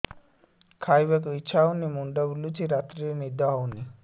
ଖାଇବାକୁ ଇଛା ହଉନି ମୁଣ୍ଡ ବୁଲୁଚି ରାତିରେ ନିଦ ହଉନି